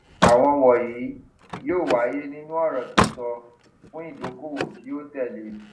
àwọn wọnyí yóò wáyé nínú ọrọ sísọ fún ìdókòwò tí yóò tẹlé